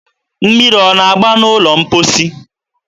mmiri ọ na-agba n'ụlọ mkposi?